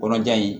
Kɔnɔja in